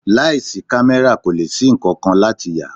Láì sí camera kò lè ṣí nkankan láti yà.